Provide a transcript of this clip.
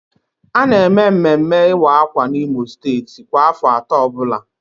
A na eme mmemme ịwa akwa n'Imo steeti kwa afọ atọ ọbụla